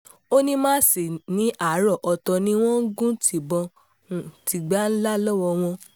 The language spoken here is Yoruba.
ó ní masinni àrà ọ̀tọ̀ ni wọ́n ń gun tibon-tigban ńlá lọ́wọ́ wọn